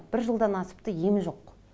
бір жылдан асыпты емі жоқ